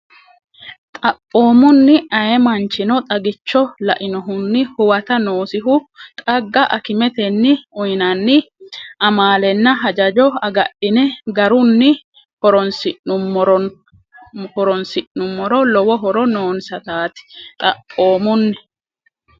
Xaphoomunni, ayee manchino xagicho lainohunni huwata noosihu xagga akimetenni uyinanni amaalenna hajajo agadhine garunni horoonsi’num- moro lowo horo noonsataati Xaphoomunni,.